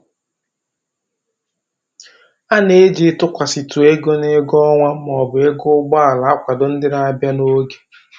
A na-eji ịtụkwasịtụ ego n'ego ọnwa maọbụ ego ụgbọala akwado ndị na-abịa n'oge